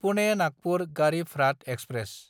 Pune-Nagpur Garib Rath express